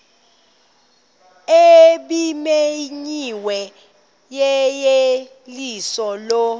ebimenyiwe yeyeliso lo